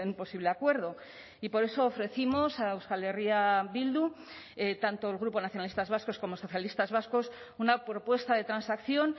posible acuerdo y por eso ofrecimos a euskal herria bildu tanto el grupo nacionalistas vascos como socialistas vascos una propuesta de transacción